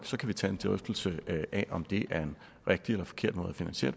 så kan vi tage en drøftelse af om det er en rigtig eller forkert måde at finansiere